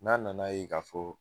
N'a nana yen ka fɔ